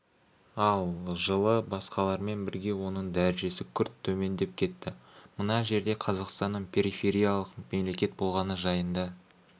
ал жылы басқалармен бірге оның дәрежесі күрт төмендеп кетті мына жерде қазақстанның перифириялық мемлекет болғаны жайында